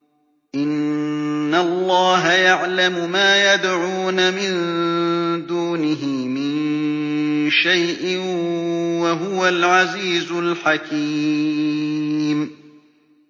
إِنَّ اللَّهَ يَعْلَمُ مَا يَدْعُونَ مِن دُونِهِ مِن شَيْءٍ ۚ وَهُوَ الْعَزِيزُ الْحَكِيمُ